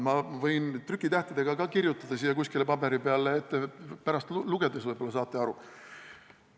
Ma võin ka trükitähtedega kirjutada siia kuskile paberi peale, pärast lugedes võib-olla saate aru.